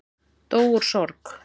Dó úr sorg